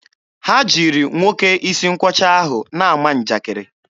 Ha jiri nwoke isi nkwọcha ahụ na-ama njakiri.